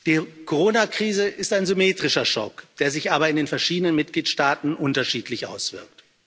Die Coronakrise ist ein symmetrischer Schock, der sich aber in den verschiedenen Mitgliedstaaten unterschiedlich auswirkt.